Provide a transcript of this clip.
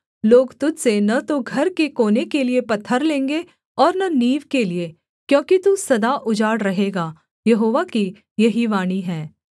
लोग तुझ से न तो घर के कोने के लिये पत्थर लेंगे और न नींव के लिये क्योंकि तू सदा उजाड़ रहेगा यहोवा की यही वाणी है